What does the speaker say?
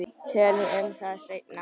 Tölum um það seinna.